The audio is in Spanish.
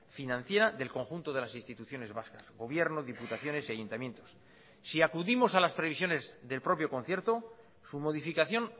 financiera del conjunto de las instituciones vascas gobierno diputaciones y ayuntamientos si acudimos a las previsiones del propio concierto su modificación